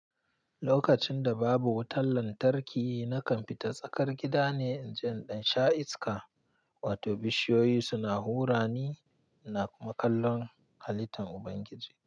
Lokacin da babu wutar lantarki, na kamfita tsakar gida ne in ji ɗan sha'iska, wato bishiyoyi suna hura ni ina kuma kallon halittar Ubangiji.